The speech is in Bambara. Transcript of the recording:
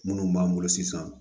Minnu b'an bolo sisan